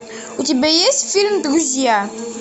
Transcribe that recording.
у тебя есть фильм друзья